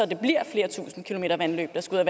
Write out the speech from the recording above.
flere tusind kilometer vandløb skal